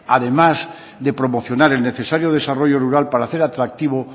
además de promocionar el necesario desarrollo rural para hacer atractivo